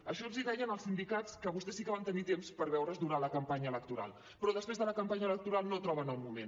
això els deien els sindicats que vostès sí que van tenir temps per veure’s durant la campanya electoral però després de la campanya electoral no troben el moment